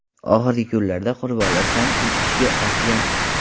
Oxirgi kunlarda qurbonlar soni uch kishiga ortgan.